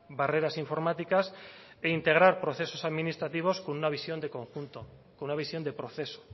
barreras informáticas e integrar procesos administrativos con una visión de conjunto con una visión de proceso